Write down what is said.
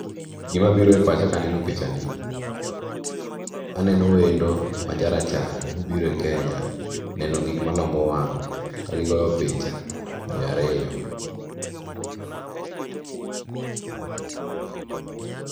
Gimabiro e pacha kaneno picha ni, aneno wendo ma jarachar, obiro e Kenya neno gik malombo wang' kagigoyo picha ji ariyo.